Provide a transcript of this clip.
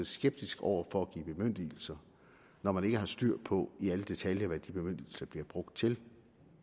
skeptisk over for at give bemyndigelser når man ikke har styr på i alle detaljer hvad de bemyndigelser bliver brugt til